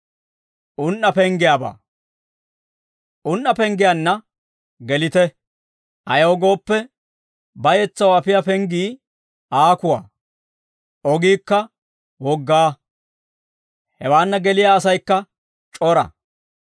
«Un"a penggiyaanna gelite. Ayaw gooppe, bayetsaw afiyaa penggii aakuwaa; ogiikka wogaa. Hewaanna geliyaa asaykka c'ora.